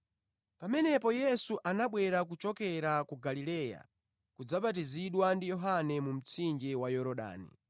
Pamenepo Yesu anabwera kuchokera ku Galileya kudzabatizidwa ndi Yohane mu mtsinje wa Yorodani.